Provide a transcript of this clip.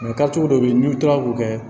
dɔ bɛ yen n'i kilala k'o kɛ